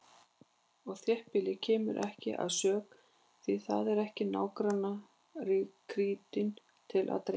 Og þéttbýlið kemur ekki að sök, því það er ekki nágrannakrytinum til að dreifa.